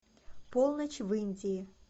полночь в индии